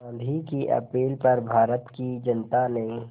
गांधी की अपील पर भारत की जनता ने